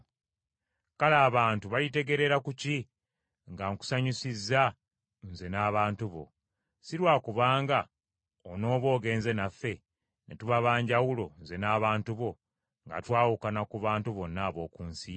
Kale abantu balitegeerera ku ki nga Nkusanyusizza, nze n’abantu bo? Si lwa kubanga onooba ogenze naffe, ne tuba ba njawulo, nze n’abantu bo, nga twawukana ku bantu bonna ab’oku nsi?”